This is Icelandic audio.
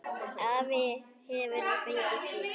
Afi hefur nú fengið hvíld.